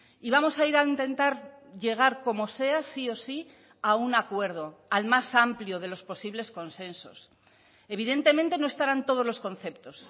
y vamos a ir a intentar llegar como sea sí o sí a un acuerdo al más amplio de los posibles consensos evidentemente no estarán todos los conceptos